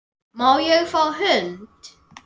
Má ég fá hund?